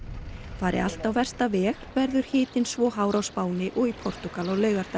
fari allt á versta veg verður hitinn svo hár á Spáni og í Portúgal á laugardag